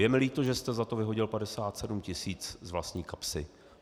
Je mi líto, že jste za to vyhodil 57 tisíc z vlastní kapsy.